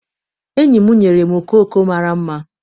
Enyi m nyere m okooko mara mma.